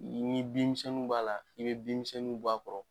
Ni bin misɛnninw b'a la i bɛ binmisɛnw b'a kɔrɔ